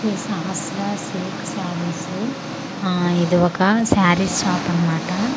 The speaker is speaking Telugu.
శ్రీ సహస్ర సిల్క్ శరీస్ ఆ ఇది ఒక శరీస్ షాప్ అన్నమాట ఇక్కడ--